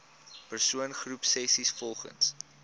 persoon groepsessies volgens